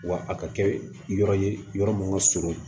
Wa a ka kɛ yɔrɔ ye yɔrɔ min ka surun